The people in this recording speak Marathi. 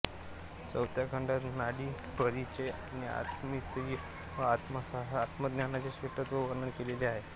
चौथ्या खंडात नाडीपरिचय आणि आत्मतीर्थ व आत्मज्ञानाचे श्रेष्ठत्व वर्णन केलेले आहे